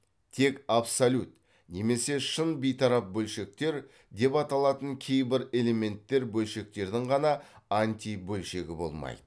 тек абсолют немесе шын бейтарап бөлшектер деп аталатын кейбір элементтер бөлшектердің ғана антибөлшегі болмайды